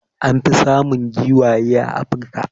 An fi samun giwaye a Africa.